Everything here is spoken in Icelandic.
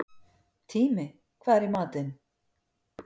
Tími, hvað er í matinn?